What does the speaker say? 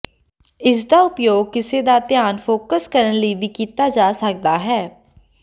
ਇਸਦਾ ਉਪਯੋਗ ਕਿਸੇ ਦਾ ਧਿਆਨ ਫੋਕਸ ਕਰਨ ਲਈ ਵੀ ਕੀਤਾ ਜਾ ਸਕਦਾ ਹੈ